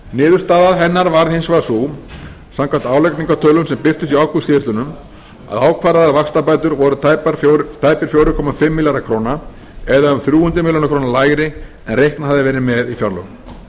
niðurstaða hennar varð hins vegar sú samkvæmt álagningartölum sem birtust í ágúst síðastliðnum að ákvarðaðar vaxtabætur voru tæpir fjóra komma fimm milljarðar króna eða um þrjú hundruð milljóna króna lægri en reiknað hafði verið með í fjárlögum